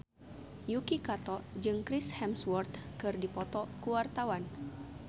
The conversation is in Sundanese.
Yuki Kato jeung Chris Hemsworth keur dipoto ku wartawan